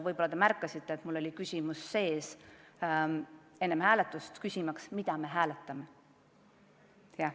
Võib-olla te märkasite, et ma küsisin enne hääletust, mida me hääletame.